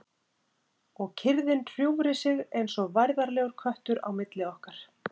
Og kyrrðin hjúfri sig eins og værðarlegur köttur á milli okkar.